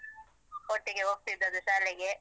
ಒಟ್ಟಿಗೆ ಹೋಗ್ತಿದ್ದದ್ದು ಶಾಲೆಗೆ.